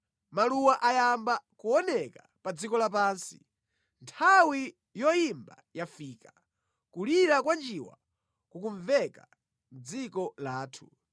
Maluwa ayamba kuoneka pa dziko lapansi; nthawi yoyimba yafika, kulira kwa njiwa kukumveka mʼdziko lathu.